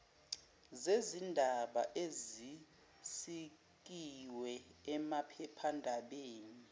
zezindaba ezisikiwe emaphephandabeni